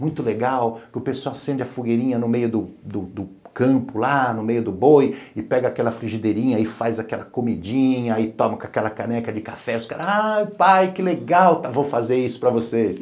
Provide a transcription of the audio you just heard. Muito legal, que o pessoal acende a fogueirinha no meio do do campo lá, no meio do boi, e pega aquela frigideirinha e faz aquela comidinha, aí toma com aquela caneca de café, os caras, ai pai, que legal, vou fazer isso para vocês.